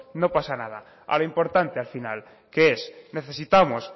no pasa nada a lo importante al final que es necesitamos